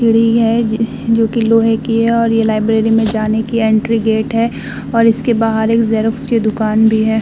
सीढ़ी है जोकि लोहे की है और ये लाइब्रेरी में जाने की एंट्री गेट है और इसके बाहर एक जेरॉक्स की दुकान भी है।